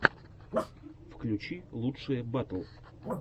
включи лучшие батл